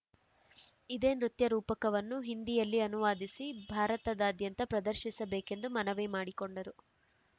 ಇದೇ ನೃತ್ಯರೂಪಕವನ್ನು ಹಿಂದಿಯಲ್ಲಿ ಅನುವಾದಿಸಿ ಭಾರತದಾ ದ್ಯಂತ ಪ್ರದರ್ಶಿಸಬೇಕೆಂದು ಮನವಿ ಮಾಡಿಕೊಂಡರು